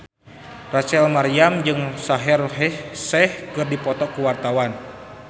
Rachel Maryam jeung Shaheer Sheikh keur dipoto ku wartawan